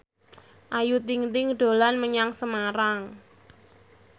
Ayu Ting ting dolan menyang Semarang